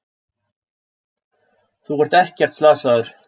Þú ert ekkert slasaður.